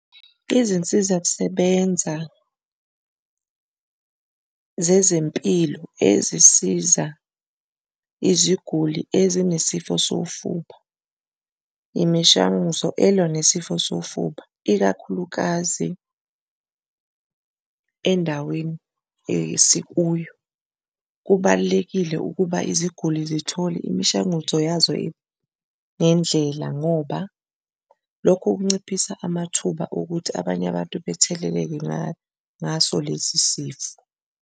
Izinsizakusebenza zezempilo ezisiza iziguli ezinesifo sofuba imishanguzo elwa nesifo sofuba, ikakhulukazi endaweni esikuyo. Kubalulekile ukuba iziguli zithole imishanguzo yazo yendlela ngoba lokhu kunciphisa amathuba okuthi abanye abantu betheleleke ngaso lesi sifo.